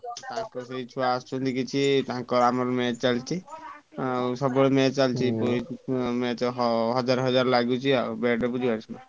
ତାଙ୍କ ସେଇ ଛୁଆ ଆସୁଛନ୍ତି କିଛି ତାଙ୍କର ଆମର match ଚାଲିଛି ଆଉ ସବୁବେଳେ match ଚାଲିଛି match ହ ହଜାର ହଜାର ଲାଗୁଛି ଆଉ ଆଉ ବୁଝିପାରୁଛ?